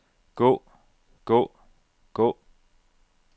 gå gå gå